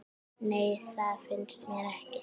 Nei, það finnst mér ekki.